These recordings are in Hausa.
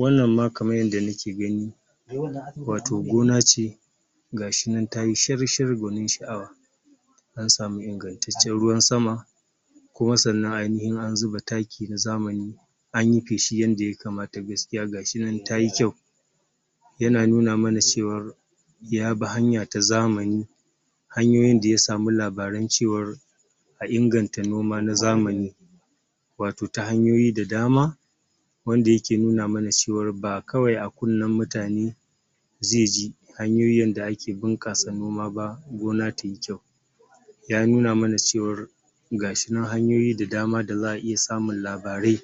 wannan ma kamar yadda muke gani wato gona ce ga shinan ta yi shar shar gwanin sha'awa an samu ingantaccen ruwan sama kuma sannan an yi an zuba taki na zamani anyi feshi yadda ya kamata gaskiya gashinan ta yi kyau yana nuna mana cewa yabi hanya ta zamani hanyoyin da ya samu labarai cewar a inganta noma na zamani wato ta hanyoyi da dama wanda yake nuna mana cewar ba kawai a kunne mutane ze ji hanyoyin da ake bunƙasa noma ba gona tai kyau ya nuna mana cewa ga shi nan hanyoyi da dama da za a iya samun labarai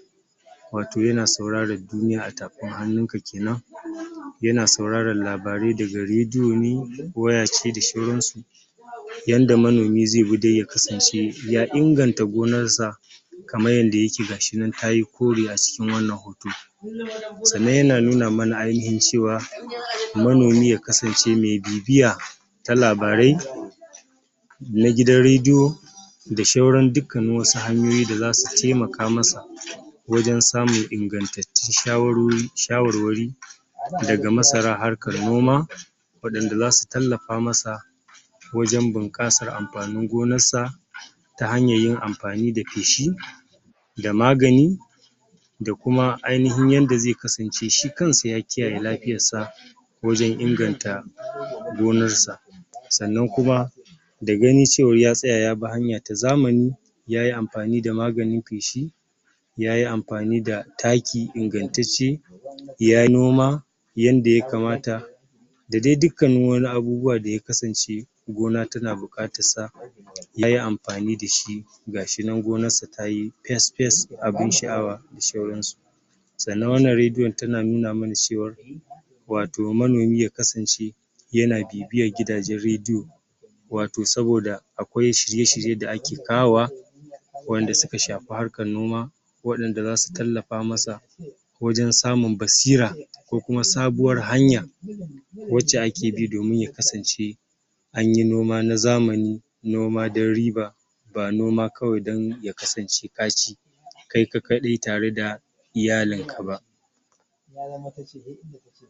wato yana sauraran duniya a tafin hannunka kenan yana sauraron labarai daga redio ne waya ce da sauransu yanda manomi zai bi don ya kasance ya inganta gonarsa kamar yanda yake ga shinan tayo kore a cikin wannan hoto sannan yana nuna mana ainahin cewa manomi ya kasance me bibiya ta labarai na gidan redio da sauran dukkanin wasu hanyoyi da su taimaka masa wajen samun ingantattin shawaroro shawarwari daga marsana harkar noma waɗanda za su tallafa masa wajen bunƙasar amfanin gonarsa ta hanyar yin amfani da feshi da magani da kuma ainahin yanda zai kasance shi kanshi ya kiyaye lafiyarsa wajen inganta gonarsa sannan kuma da ganin cewa ya tsaya yabi hanya ta zamani ya yi amfani da maganin feshi ya yi amfani da Taki ingantacce ya yi noma yanda ya kamata da dai dukkan wani abubuwa da ya kasance gona tana buƙatarsa ya yi amfani da shi gashi nan goanarsa ta yi fes fes abin sha'awa da shauransu sannna wannan rediyon tana nuna mana cewa wato yanayin ya kasance yana bibiyar gidanjen rediyo wato saboda akwai shiryr-shirye da ake kawowa wa'yanda suka shafi harkar noma waɗanda za su tallafa masa wajen samun basira ko kuma sabuwar hanya wacca ake bi domin ya kasance anyi noma na zamani noma don riba ba noma kawai don ya kasance ka ci kai kaɗai tare da iyalinka ba ya zama ta ce he inda ta ce